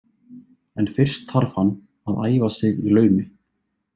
En fyrst þarf hann að æfa sig í laumi.